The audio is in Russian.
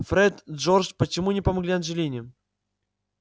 фред джордж почему не помогли анджелине